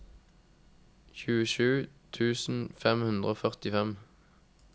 tjuesju tusen fem hundre og førtifem